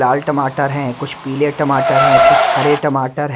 लाल टमाटर है कुछ पीले टमाटर है कुछ हरे टमाटर है।